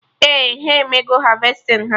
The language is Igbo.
Ee, ha emego harvesting ha